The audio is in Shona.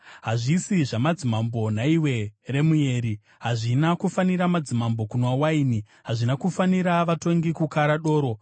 “Hazvisi zvamadzimambo, nhaiwe Remueri, hazvina kufanira madzimambo kunwa waini, hazvina kufanira vatongi kukara doro,